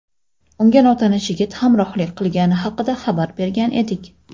unga notanish yigit hamrohlik qilgani haqida xabar bergan edik.